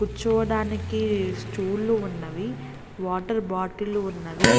కూర్చోవడానికి స్టూళ్లు ఉన్నవి వాటర్ బాటిల్ ఉన్నవి.